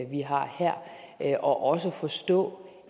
vi har her og også forstå